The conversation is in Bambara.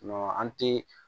an ti